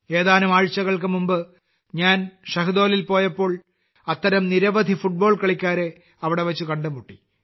ഏതാനും ആഴ്ചകൾക്ക് മുമ്പ് ഞാൻ ഷഹ്ദോളിൽ പോയപ്പോൾ അത്തരം നിരവധി ഫുട്ബോൾ കളിക്കാരെ അവിടെ വച്ച് കണ്ടുമുട്ടി